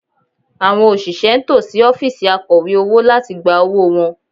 Àwọn òṣìṣẹ́ ń tò sí ọ́fíìsì Akọ̀wé owó láti gba owó wọn